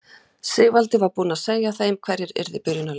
Sigvaldi var búinn að segja þeim hverjir yrðu í byrjunarliðinu.